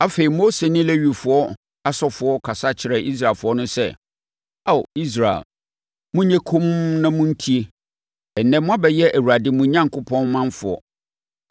Afei, Mose ne Lewifoɔ asɔfoɔ kasa kyerɛɛ Israelfoɔ no sɛ, “Ao Israel, monyɛ komm na montie! Ɛnnɛ, moabɛyɛ Awurade, mo Onyankopɔn manfoɔ.